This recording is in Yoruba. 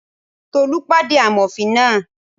Tolú pàdé amòfin náà